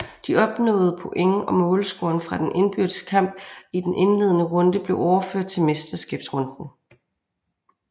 De opnåede point og målscoren fra den indbyrdes kamp i den indledende runde blev overført til mesterskabsrunden